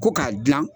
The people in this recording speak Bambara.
Ko k'a dilan